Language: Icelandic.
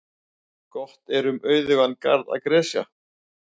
Gott er um auðugan garð að gresja.